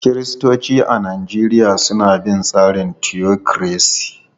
Kiristoci a Najeriya suna bin tsarin mulkin tiyokiresi.